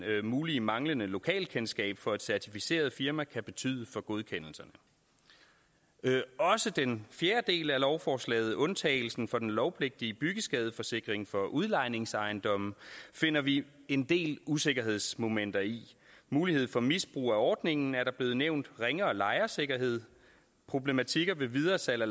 det mulige manglende lokalkendskab for et certificeret firma kan betyde for godkendelserne også den fjerde del af lovforslaget undtagelsen fra den lovpligtige byggeskadeforsikring for udlejningsejendomme finder vi en del usikkerhedsmomenter i mulighed for misbrug af ordningen er blevet nævnt ringere lejersikkerhed problematik ved videresalg af